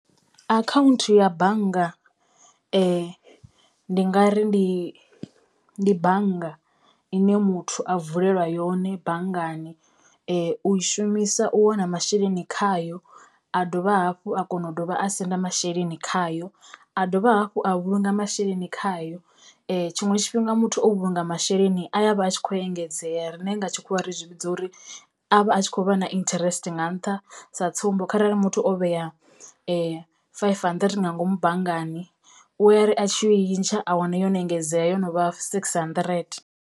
Akhaunthu ya bannga ndi nga ri ndi ndi bannga ine muthu a vulelwa yone banngani u i shumisa u wana masheleni khayo a dovha hafhu a kona u dovha a senda masheleni khayo, a dovha hafhu a vhulunga masheleni khayo. Tshiṅwe tshifhinga muthu o vhulunga masheleni a ya vha a tshi khou engedzea riṋe nga tshikhuwa ra zwi vhidza uri a vha a tshi khou vha na interest nga nṱha sa tsumbo, kharali muthu o vhea five hundred nga ngomu banngani u ya ri a tshi yo u i ntsha a wana yone engedzea yo novha six hundred.